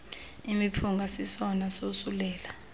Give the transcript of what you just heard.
imiphunga sisesona sosulela